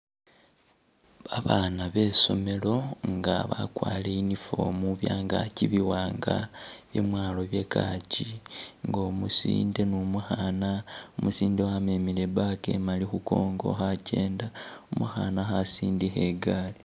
Babaana be i'somelo nga bakwarire uniform byangaki biwanga, byamwalo by kaki nga umusinde ni umukhaana, umusinde wamemile i'bag khu kongo khakenda, umukhaana khasindikha i'gari.